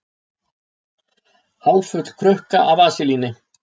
Hálffull krukka af vaselíni.